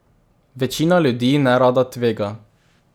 Večina ljudi nerada tvega.